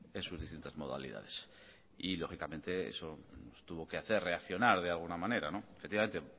en sus distintas modalidades y lógicamente eso tuvo que hacer reaccionar de alguna manera no efectivamente